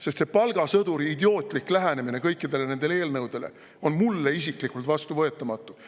Sest selline idiootlik palgasõduri lähenemine kõikidele nendele eelnõudele on mulle isiklikult vastuvõetamatu.